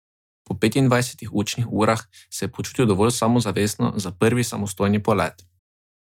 Po petindvajsetih učnih urah se je počutil dovolj samozavestno za prvi samostojni polet.